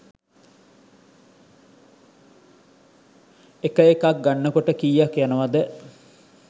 එක එකක් ගන්නකොට කියක් යනවද?